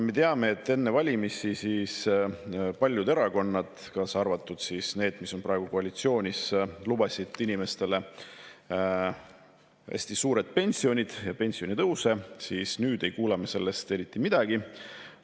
Me teame, et enne valimisi paljud erakonnad, kaasa arvatud need, mis on praegu koalitsioonis, lubasid inimestele hästi suuri pensione ja pensionitõuse, ent nüüd ei kuule sellest eriti midagi.